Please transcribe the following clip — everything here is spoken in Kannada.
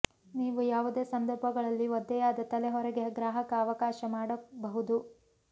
ನೀವು ಯಾವುದೇ ಸಂದರ್ಭಗಳಲ್ಲಿ ಒದ್ದೆಯಾದ ತಲೆ ಹೊರಗೆ ಗ್ರಾಹಕ ಅವಕಾಶ ಮಾಡಬಹುದು